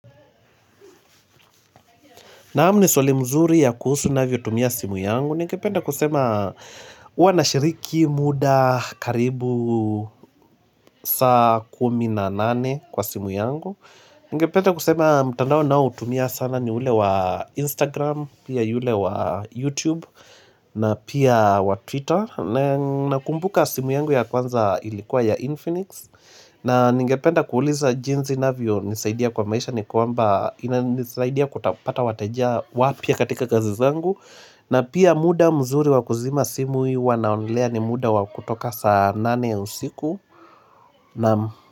Naam ni swali mzuri ya kuhusu navyotumia simu yangu. Ningependa kusema huwa nashiriki muda karibu saa kumi na nane kwa simu yangu. Ningependa kusema mtandao naotumia sana ni ule wa Instagram, pia yule wa YouTube na pia wa Twitter. Na kumbuka simu yangu ya kwanza ilikuwa ya Infinix. Na ningependa kuuliza jinsi inavyonisaidia kwa maisha. Ni kwamba ina nisaidia kupata wateja wapya katika kazi zangu na pia muda mzuri wa kuzima simu hii huwa naonelea ni muda wa kutoka saa nane usiku nam.